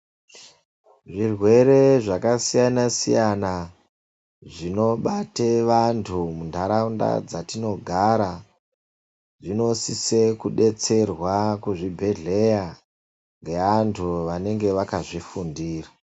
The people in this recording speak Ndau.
Zvirwere zvakasiyana siyana zvinobate vantu muntaraunda dzatinogara zvinosise kudetserwa kuzvibhedhleya ngeantu vanenge vakazvifundira.